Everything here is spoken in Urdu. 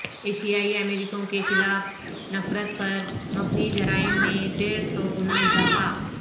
ایشیائی امریکیوں کے خلاف نفرت پر مبنی جرائم میں ڈیڑھ سو گنا اضافہ